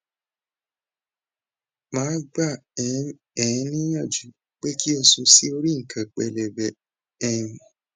ma gba um e niyanju pe ki o sun si ori ikan pelebe um